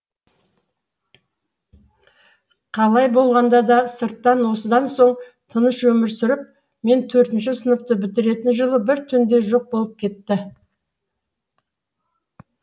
қалай болғанда да сырттан осыдан соң тыныш өмір сүріп мен төртінші сыныпты бітіретін жылы бір түнде жоқ болып кетті